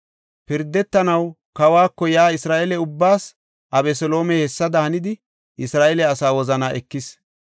Pirdetanaw kawako yaa Isra7eele ubbaas Abeseloomey hessada hanidi Isra7eele asaa wozanaa ekis.